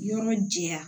Yɔrɔ jɛya